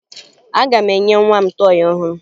Aga m enye nwa m tọọyị ọhụrụ